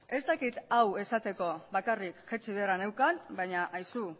ez dakit hau esateko bakarrik jaitsi beharra neukan baina aizu